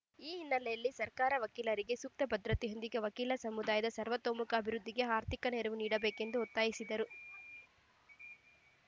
ಈ ಹಿನ್ನೆಲೆಯಲ್ಲಿ ಸರ್ಕಾರ ವಕೀಲರಿಗೆ ಸೂಕ್ತ ಭದ್ರತೆಯೊಂದಿಗೆ ವಕೀಲ ಸಮೂಹದ ಸರ್ವತೋಮುಖ ಅಭಿವೃದ್ಧಿಗೆ ಆರ್ಥಿಕ ನೆರವು ನೀಡಬೇಕೆಂದು ಒತ್ತಾಯಿಸಿದರು